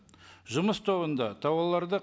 жұмыс тобында тауарларды